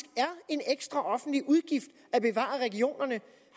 at offentlig udgift at bevare regionerne